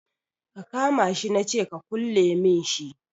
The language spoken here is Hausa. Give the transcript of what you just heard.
Ka kama shi na ce ka kulle min shi